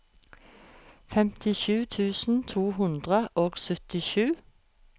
femtisju tusen to hundre og syttisju